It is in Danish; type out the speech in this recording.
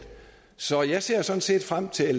så jeg ser sådan set frem til